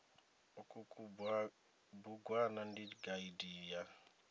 uku kubugwana ndi gaidi ya